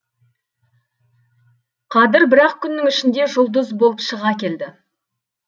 қадір бір ақ күннің ішінде жұлдыз болып шыға келді